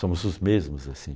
Somos os mesmos assim.